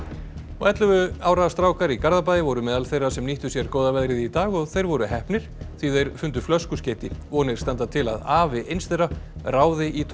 ellefu ára strákar í Garðabæ voru meðal þeirra sem nýttu sér góða veðrið í dag og þeir voru heppnir því þeir fundu flöskuskeyti vonir standa til að afi eins þeirra ráði í